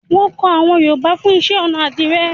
Wọn kọ àwọn Yorùbá fún iṣẹ́-ọnà àdìrẹ́.